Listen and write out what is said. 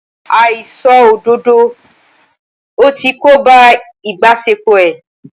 Àìṣòdodo ẹ̀ ti kóbá ìbáṣepọ̀ ẹ́.